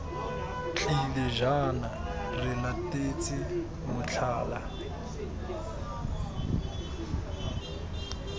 tlile jaana re latetse motlhala